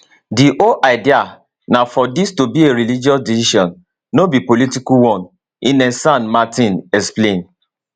di whole idea na for dis to be a religious decision no be political one ines san martin explain